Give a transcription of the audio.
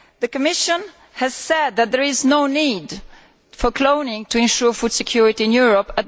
The Commission has said that there is no need for cloning to ensure food security in Europe.